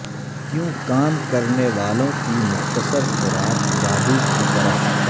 کیوں کام کرنے والوں کی مختصر خوراک جادو کی طرح